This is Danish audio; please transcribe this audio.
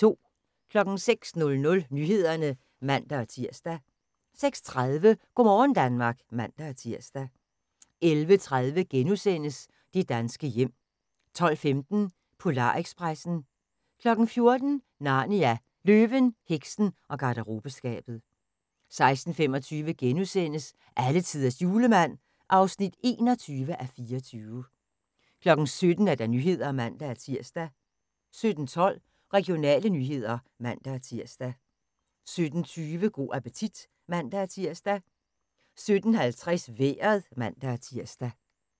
06:00: Nyhederne (man-tir) 06:30: Go' morgen Danmark (man-tir) 11:30: Det danske hjem * 12:15: Polar-expressen 14:00: Narnia – Løven, heksen og garderobeskabet 16:25: Alletiders Julemand (21:24)* 17:00: Nyhederne (man-tir) 17:12: Regionale nyheder (man-tir) 17:20: Go' appetit (man-tir) 17:50: Vejret (man-tir)